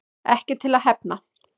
Ekki til að hefna